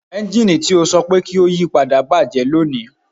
Ẹnjini ti o sọ pe ki o yipada bajẹ bajẹ loni